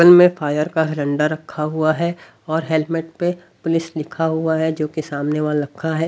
में फायर का डंडा रखा हुआ है और हेलमेट पे पुलिस लिखा हुआ है जो के सामने वाल रखा है।